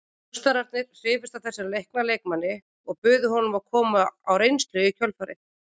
Njósnararnir hrifust af þessum leikna leikmanni og buðu honum að koma á reynslu í kjölfarið.